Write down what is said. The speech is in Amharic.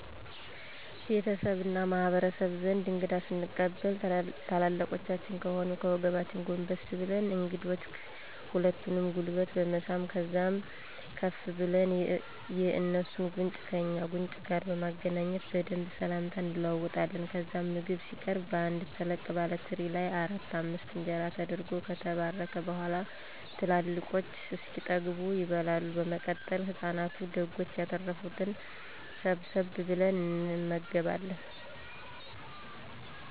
ቤተሰቤ እና በማህበረሰቤ ዘንድ እንግዳ ስንቀበል ትላልቆቻችን ከሆኑ ከወገባችን ጎንበስ ብለን የእንግዶችን ሁለቱንም ጉልበት በመሳም ከዛም ከፍ ብለን የእንሱን ጉንጭ ከእኛ ጉንጭ ጋር በማገናኘት በደንብ ስላምታ እንለዋወጣለን። ከዛም ምግብ ሲቀረብ በአንድ ተለቅ ባለ ትሪ ላይ አራት አምስት እንጀራ ተደርጎ ከተባረከ በኋላ ትላልቆቹ እስኪጠገቡ ይበላል። በመቀጠል ለህፃናቱ ደጎች ያተረፋትን ሰብሰብ ብለን እንመገባለን።